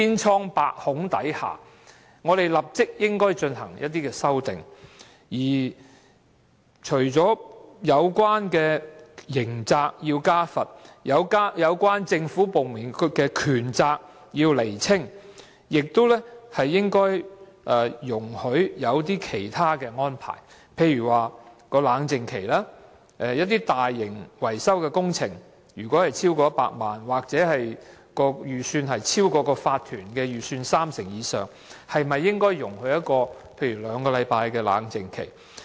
除了在刑責上要加重罰則，以及釐清有關政府部門的權責外，當局亦應容許制訂一些其他安排，例如設立冷靜期，當一些大型維修工程的費用超過100萬元或超過法團的預算三成以上時，應該容許設立冷靜期如兩星期。